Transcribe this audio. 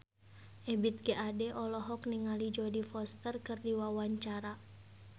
Ebith G. Ade olohok ningali Jodie Foster keur diwawancara